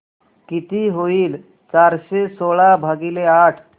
किती होईल चारशे सोळा भागीले आठ